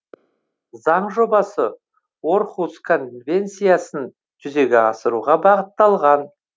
заң жобасы орхус конвенциясын жүзеге асыруға бағытталған